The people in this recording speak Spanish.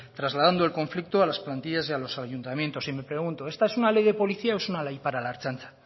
trasladando el conflicto a las plantillas y a los ayuntamientos y me pregunto esta es una ley de policía o es una ley para la ertzaintza